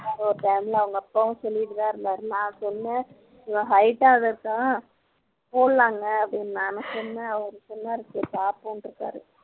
ஒரு time ல அவங்க அப்பாவும் சொல்லிட்டுதான் இருந்தார் நான் சொன்னேன் இவள் height ஆ இருக்கா போடலாங்கன்னு நானும் சொன்னேன் அவர் சொன்னார் சரி பாப்போம்ன்ருக்கார்